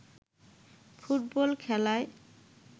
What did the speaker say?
football খেলায়